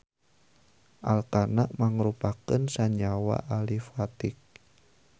Alkana mangrupakeun sanyawa alifatik.